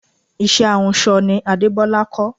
Iṣẹ́ ahunsọ ni Adebola kọ́